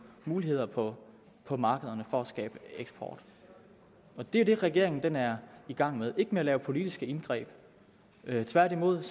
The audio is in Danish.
muligheder på på markederne for at skabe eksport det er det regeringen er i gang med ikke med at lave politiske indgreb tværtimod